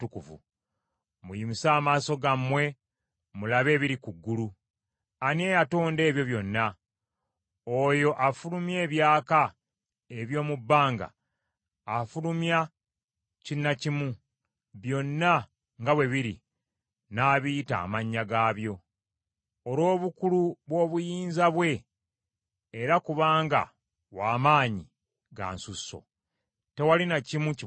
Muyimuse amaaso gammwe mulabe ebiri ku ggulu. Ani eyatonda ebyo byonna? Oyo afulumya ebyaka eby’omu bbanga afulumya kina kimu, byonna nga bwe biri, n’abiyita amannya gaabyo. Olw’obukulu bw’obuyinza bwe era kubanga wa maanyi ga nsusso, tewali na kimu kibulako.